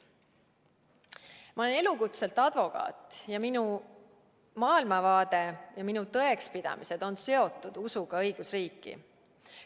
Ma olen elukutselt advokaat ning minu maailmavaade ja tõekspidamised on seotud usuga õigusriiki.